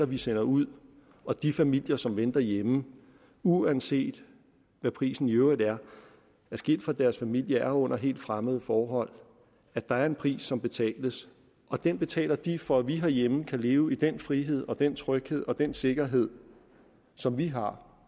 vi sender ud og de familier som venter hjemme er uanset hvad prisen i øvrigt er skilt fra deres familie og under helt fremmede forhold og der er en pris som betales og den betaler de for at vi herhjemme kan leve i den frihed og den tryghed og den sikkerhed som vi har